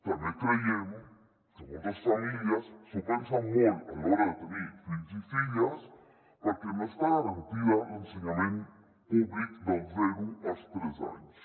també creiem que moltes famílies s’ho pensen molt a l’hora de tenir fills i filles perquè no està garantit l’ensenyament públic dels zero als tres anys